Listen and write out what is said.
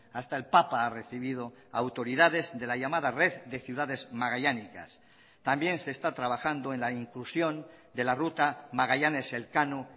hasta el papa ha recibido autoridades de la llamada red de ciudades magallánicas también se está trabajando en la inclusión de la ruta magallanes elcano